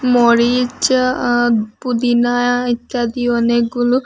মরিচ আ আ পুদিনা ইত্যাদি অনেকগুলো--